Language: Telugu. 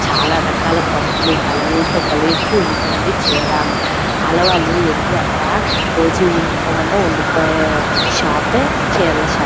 చాలా రకాల పట్టులు కలర్ లోతో కలిచి ఉంటుంది చీర ఆడవాళ్లు వెళ్లి అక్కడ రోజు ఉండి పొమ్మన్న ఉండిపోయే షాప్ యే చీరల షాప్ .